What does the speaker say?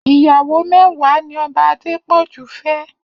Iyàwó mèwàá ni Òbá Adepoju fè